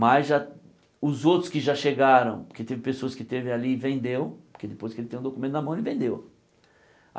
Mas já os outros que já chegaram, porque teve pessoas que esteve ali e vendeu, porque depois que ele tem o documento na mão, ele vendeu.